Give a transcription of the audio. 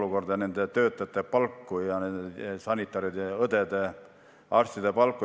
Me teame nende töötajate palku – nende sanitaride, õdede, arstide palku.